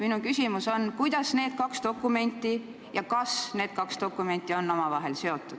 Minu küsimus on, et kuidas need kaks dokumenti ja kas need kaks dokumenti on omavahel seotud.